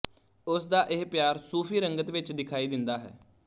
ਉਸ ਦਾ ਇਹ ਪਿਆਰ ਸੂਫ਼ੀ ਰੰਗਤ ਵਿੱਚ ਦਿਖਾਈ ਦਿੰਦਾ ਹੈ